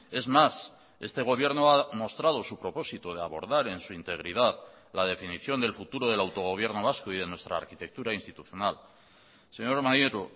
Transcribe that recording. es más este gobierno ha mostrado su propósito de abordar en su integridad la definición del futuro del autogobierno vasco y de nuestra arquitectura institucional señor maneiro